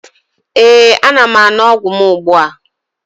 Ee, ana m aṅụ ọgwụ m ugbua